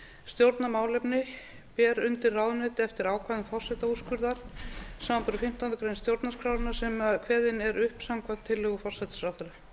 stjórnarmálefni ber undir ráðuneyti eftir ákvæðum forsetaúrskurðar samanber fimmtándu grein stjórnarskrárinnar sem kveðinn er upp samkvæmt tillögu forsætisráðherra